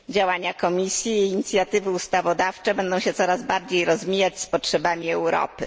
Działania Komisji i jej inicjatywy ustawodawcze będą się coraz bardziej rozmijać z potrzebami Europy.